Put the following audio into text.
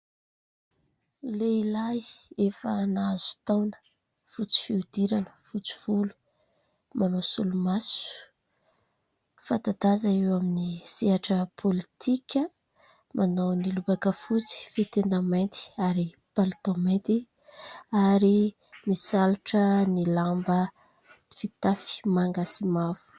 Lehilahy efa nahazo taona, fotsy fihodirana, fotsy volo, manao solomaso, fatan-daza eo amin'ny sehatra politika, manao ny lobaka fotsy, fehin-tenda mainty ary palitao mainty ary misalotra ny lamba fitafy manga sy mavo.